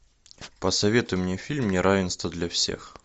посоветуй мне фильм неравенство для всех